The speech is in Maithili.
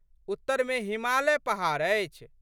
उत्तर मे हिमालय पहाड़ अछि।